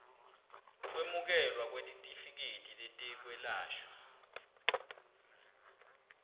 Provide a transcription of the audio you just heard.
kwemukelwa kwetitifiketi tetekwelashwa